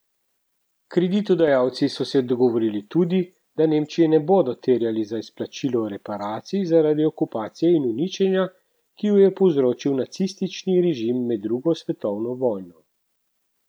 Kreditodajalci so se dogovorili tudi, da Nemčije ne bodo terjali za izplačilo reparacij zaradi okupacije in uničenja, ki ju je povzročil nacistični režim med drugo svetovno vojno.